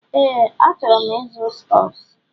Ee, achọrọ m ịzụ stọks.